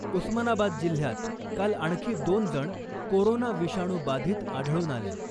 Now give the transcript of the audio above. उस्मानाबाद जिल्ह्यात काल आणखी दोन जण कोरोना विषाणू बाधित आढळून आले .